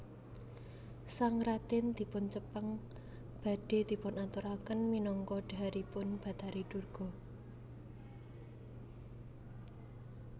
Sang radèn dipun cepeng badhé dipunaturaken minangka dhaharipun bathari Durga